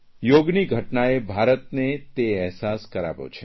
યોગની ઘટનાએ ભારતને તે અહેવાસ કરાવ્યો છે